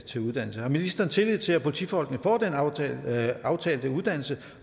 til uddannelse har ministeren tillid til at politifolkene får den aftalte aftalte uddannelse